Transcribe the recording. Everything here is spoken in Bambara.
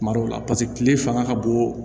Kuma dɔw la paseke kile fanga ka bon